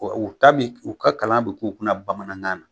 U ta bi, u ka kalan bi k'u kunna bamanankan na